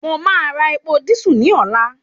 Mo máa ra epo dísù ní ọ̀la